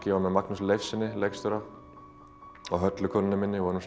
ég var með Magnúsi Leifs leikstjóra og Höllu konunni minni við vorum